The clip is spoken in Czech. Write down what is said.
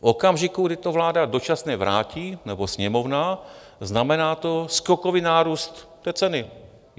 V okamžiku, kdy to vláda dočasně vrátí, nebo Sněmovna, znamená to skokový nárůst té ceny.